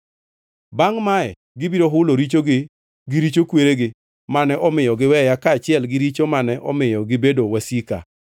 Bangʼ mae gibiro hulo richogi gi richo kweregi mane omiyo giweya kaachiel gi richo mane omiyo gibedo wasika,